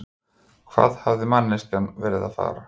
Hvað hafði manneskjan verið að fara?